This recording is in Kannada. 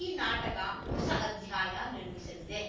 ಈ ನಾಟಕ ಹೊಸ ಅಧ್ಯಾಯ ನಿರ್ಮಿಸಲಿದೆ